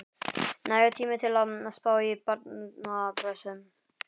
Nægur tími til að spá í barnapössun.